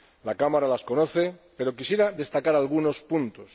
La Cámara las conoce, pero quisiera destacar algunos puntos.